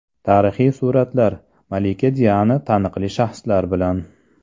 Tarixiy suratlar: Malika Diana taniqli shaxslar bilan.